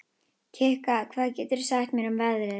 Kikka, hvað geturðu sagt mér um veðrið?